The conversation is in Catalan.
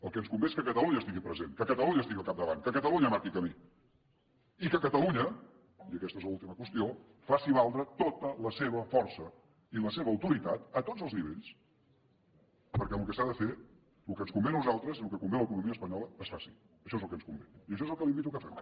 el que ens convé és que catalunya estigui present que catalunya estigui al capdavant que catalunya marqui camí i que catalunya i aquesta és l’última qüestió faci valdre tota la seva força i la seva autoritat a tots els nivells perquè el que s’ha de fer el que ens convé a nosaltres i el que convé a l’economia espanyola es faci això és el que ens convé i això és el que li invito que fem